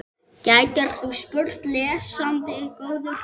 gætir þú spurt, lesandi góður.